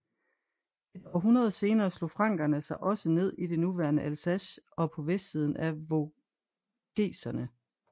Et århundrede senere slog frankerne sig også ned i det nuværende Alsace og på vestsiden af Vogeserne